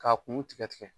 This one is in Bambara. K'a kun tigɛ tigɛ